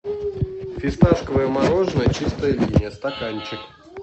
фисташковое мороженое чистая линия стаканчик